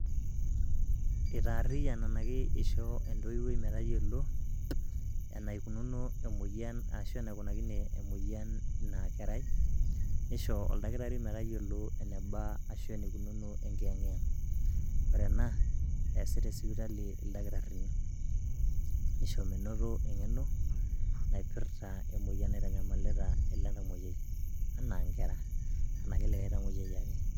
Itaarriyian ena aisho entoiwui metayiolo enikunakine emoyian inakerai nisho oldakitari metayiolo eneba ashu enikunono enkiyang'iyang'. Ore ena eesi tesipitali ildakitarini nisho menoto eng'eno naipirta ele tamoyiai enaa inkera ashu likae tamuoyiai ake.